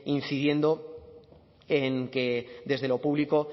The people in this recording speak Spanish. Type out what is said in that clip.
incidiendo en que desde lo público